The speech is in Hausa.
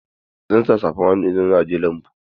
Zan sa safan hannu idan zan je lambu.